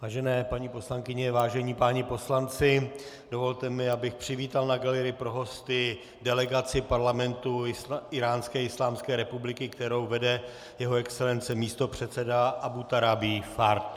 Vážené paní poslankyně, vážení páni poslanci, dovolte mi, abych přivítal na galerii pro hosty delegaci Parlamentu Íránské islámské republiky, kterou vede jeho excelence místopředseda Aboutorabi Fard.